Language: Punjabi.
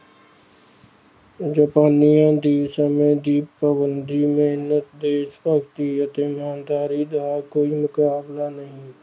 ਜਪਾਨੀਆਂ ਦੀ ਸਮੇਂ ਦੀ ਪਾਬੰਦੀ, ਮਿਹਨਤ ਦੇਸ, ਭਗਤੀ ਅਤੇ ਇਮਾਨਦਾਰੀ ਦਾ ਕੋਈ ਮੁਕਾਬਲਾ ਨਹੀਂ।